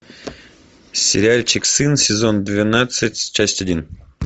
сериальчик сын сезон двенадцать часть один